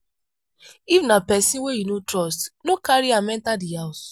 if na person wey you no trust no carry am enter di house